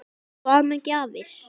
Hvað með gjafir?